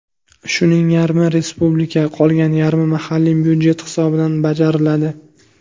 Shuning yarmi respublika, qolgan yarmi mahalliy budjet hisobidan bajariladi.